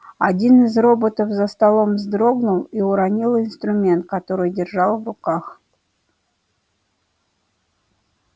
один из роботов за столом вздрогнул и уронил инструмент который держал в руках